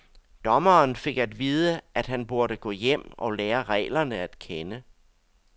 Dommeren fik at vide, at han burde gå hjem og lære reglerne at kende.